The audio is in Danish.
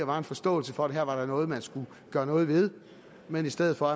var en forståelse for at der her var noget man skulle gøre noget ved men i stedet for